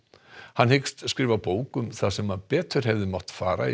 hann hyggst skrifa bók um það sem betur hefði mátt fara í